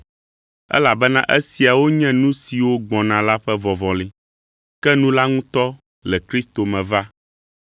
Elabena esiawo nye nu siwo gbɔna la ƒe vɔvɔli; ke nu la ŋutɔ le Kristo me va.